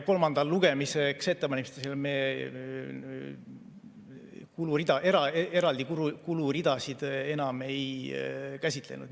Kolmandaks lugemiseks ettevalmistamisel me eraldi kuluridasid enam ei käsitlenud.